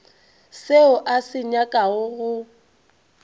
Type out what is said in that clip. seo a se nyakago go